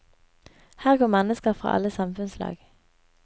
Her går mennesker fra alle samfunnslag.